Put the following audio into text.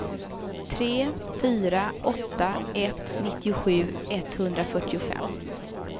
tre fyra åtta ett nittiosju etthundrafyrtiofem